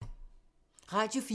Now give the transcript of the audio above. Radio 4